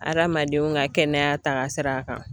Adamadenw ka kɛnɛya taagasira kan.